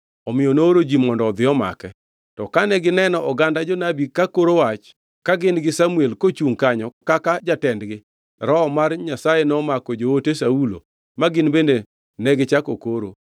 omiyo nooro ji mondo odhi omake. To kane gineno oganda jonabi ka koro wach ka gin gi Samuel kochungʼ kanyo kaka jatendgi Roho mar Nyasaye nomako joote Saulo ma gin bende negichako koro.